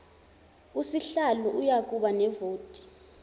usihlalo uyakuba nevoti